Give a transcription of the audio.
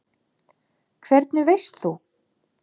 Hvernig veist þú?